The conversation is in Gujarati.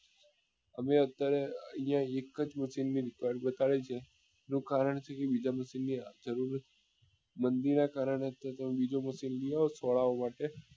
અમે અત્યારે એક જ બતાવે છે એનું કરણ શું એ બીજા મંદી નાં કારણે કે તે બીજો આવે ખોરાક માટે